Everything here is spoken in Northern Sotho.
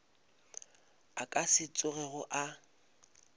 a ka se tsogego a